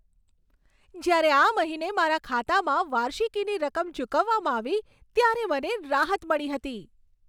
જ્યારે આ મહિને મારા ખાતામાં વાર્ષિકીની રકમ ચૂકવવામાં આવી, ત્યારે મને રાહત મળી હતી.